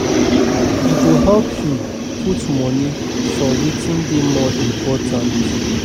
E go help yu put moni for wetin dey more important